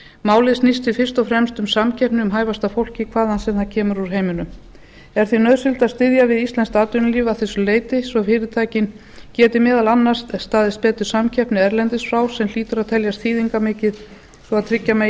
málið snýst því fyrst og fremst um samkeppni um hæfasta fólkið hvaðan sem það kemur úr heiminum er því nauðsynlegt að styðja við íslenskt atvinnulíf að þessu leyti svo fyrirtækin geti meðal annars staðist betur samkeppni erlendis frá sem hlýtur að teljast þýðingarmikið svo tryggja megi